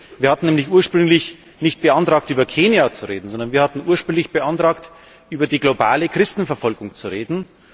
Wir hatten nämlich ursprünglich nicht beantragt, über Kenia zu reden, sondern wir hatten ursprünglich beantragt, über die globale Christenverfolgung zu reden.